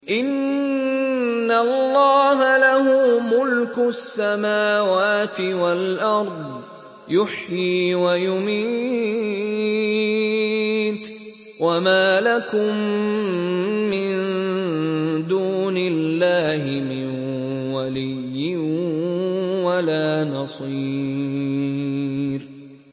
إِنَّ اللَّهَ لَهُ مُلْكُ السَّمَاوَاتِ وَالْأَرْضِ ۖ يُحْيِي وَيُمِيتُ ۚ وَمَا لَكُم مِّن دُونِ اللَّهِ مِن وَلِيٍّ وَلَا نَصِيرٍ